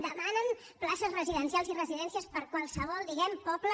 demanen places residencials i residències per a qualsevol diguem ne poble